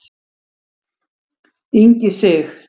Ingi Sig.